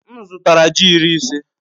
M zụtara ji iri ise.